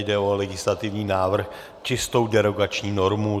Jde o legislativní návrh, čistou derogační normu.